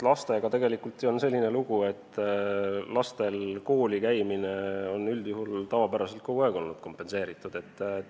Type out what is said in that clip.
Lastega on ju selline lugu, et nende koolisõit on üldjuhul olnud kogu aeg kompenseeritud.